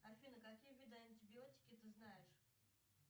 афина какие виды антибиотики ты знаешь